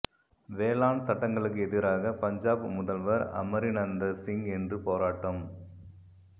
வேளாண் சட்டங்களுக்கு எதிராக பஞ்சாப் முதல்வர் அமரிந்தர் சிங் இன்று போராட்டம்